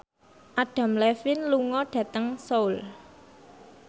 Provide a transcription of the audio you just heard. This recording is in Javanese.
Adam Levine lunga dhateng Seoul